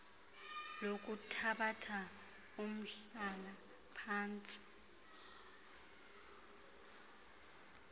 lokuthabatha umhlala phantsi